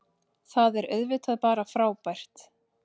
Það er auðvitað bara frábært